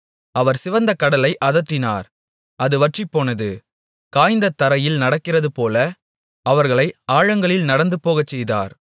அவர் சிவந்த கடலை அதட்டினார் அது வற்றிப்போனது காய்ந்த தரையில் நடக்கிறதுபோல அவர்களை ஆழங்களில் நடந்துபோகச்செய்தார்